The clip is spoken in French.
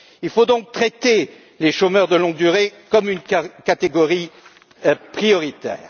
Il faut donc traiter les chômeurs de longue durée comme une catégorie prioritaire.